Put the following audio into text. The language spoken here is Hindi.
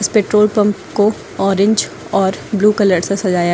पेट्रोल पंप को ऑरेंज और ब्लू कलर से सजाया--